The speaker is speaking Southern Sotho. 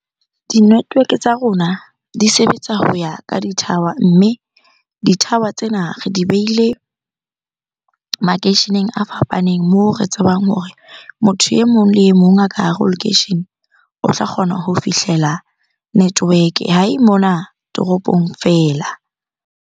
Di-network-e tsa rona di sebetsa ho ya ka di-tower. Mme di-tower tsena re di behile makeisheneng a fapaneng moo re tsebang hore motho e mong le e mong a ka hare ho lekeishene, o tla kgona ho fihlela network-e. Ha e mona toropong fela.